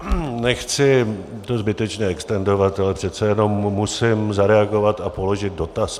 Nechci to zbytečně extendovat, ale přece jenom musím zareagovat a položit dotaz.